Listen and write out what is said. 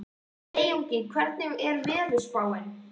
Sveinungi, hvernig er veðurspáin?